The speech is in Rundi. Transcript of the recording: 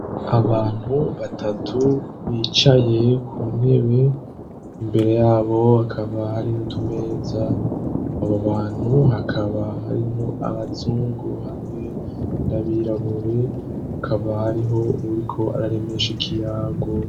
Abantu batatu bicaye ku ntebe imbere yabo hakaba hari utumeza. Abo bantu hakaba harimwo abazungu hamwe n'abirabure. Hakaba hariho uwuriko araremesha ikiyago.